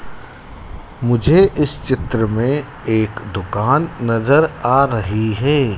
मुझे इस चित्र में एक दुकान नजर आ रही है।